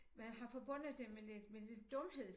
Man har forbundet det med lidt med lidt dumhed